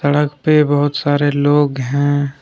सड़क पे बहुत सारे लोग हैं।